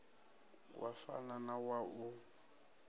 wa fana na wa u